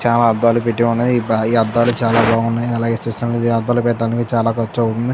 చాలా అద్దాలు పెట్టి ఉన్నాయి భారీ ఈ అద్దాలు చాలా బాగున్నాయి అలాగే చూస్తుంటే అద్దాలు పెట్టడానికి చాలా ఖర్చు అవుతుంది.